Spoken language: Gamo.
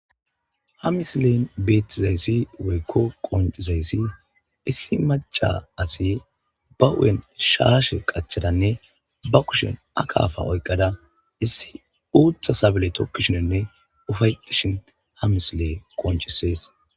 Ha misilen beettizayssi woykko qoncizayssi issi maca asi ba hu'en shaashe qachadanne ba kushen akaafa oyqqada issi uutha sable tokkishinenne ufayetishin ha misile qonchisees.